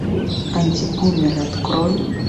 антибумер открой